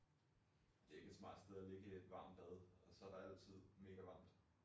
Det ikke et smart sted og lægge et varmt bad og så der altid mega varmt